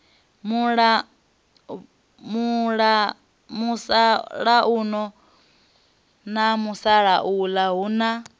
musalauno na musalauḽa hu na